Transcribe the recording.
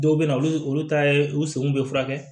Dɔw bɛ na olu ta ye u senw bɛ furakɛ